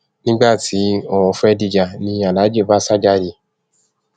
nígbà tí ọrọ fẹẹ dìjà ni aláàjì bá sá jáde